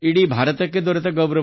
ಭಾರತಕ್ಕೆ ಸಿಕ್ಕ ಅತಿದೊಡ್ಡ ಗೌರವ